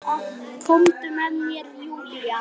Komdu með mér Júlía.